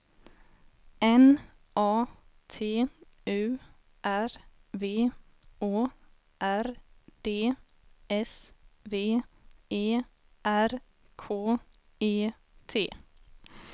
N A T U R V Å R D S V E R K E T